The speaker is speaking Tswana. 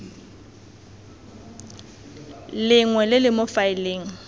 lengwe le le mo faeleng